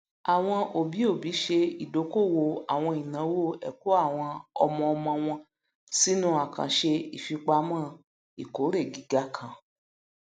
àwọn òbíòbí ṣe ìdókòwò àwọn ináwó ẹkọ àwọn ọmọọmọ wọn sínú àkàǹṣe ìfipamọ ìkórè gíga kan